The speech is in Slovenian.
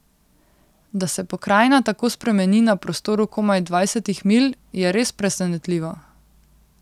Da se pokrajina tako spremeni na prostoru komaj dvajsetih milj, je res presenetljivo.